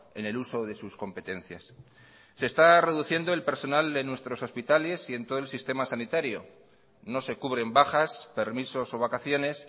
en el uso de sus competencias se está reduciendo el personal de nuestros hospitales y en todo el sistema sanitario no se cubren bajas permisos o vacaciones